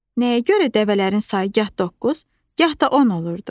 Nəyə görə dəvələrin sayı gah doqquz, gah da 10 olurdu?